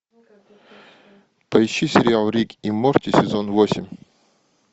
поищи сериал рик и морти сезон восемь